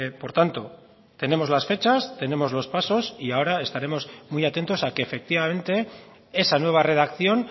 por tanto tenemos las fechas tenemos los pasos y ahora estaremos muy atentos a que efectivamente esa nueva redacción